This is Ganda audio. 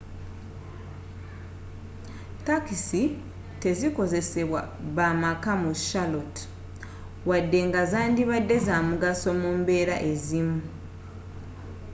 takisi tezikozesebwa bamakka mu charlotte wadde nga zandibadde zamugso mu mbeera ezimu